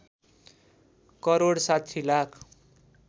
crore ६० lakh